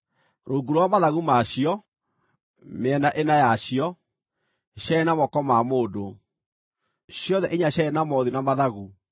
Rungu rwa mathagu ma cio, mĩena ĩna yacio, ciarĩ na moko ma mũndũ. Ciothe inya ciarĩ na mothiũ na mathagu,